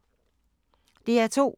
DR2